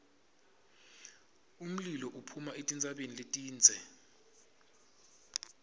umlilo uphuma etintsabeni letindze